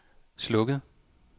slukket